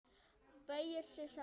Beygir sig saman.